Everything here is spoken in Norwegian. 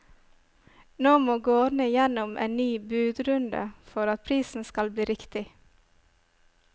Nå må gårdene gjennom en ny budrunde, for at prisen skal bli riktig.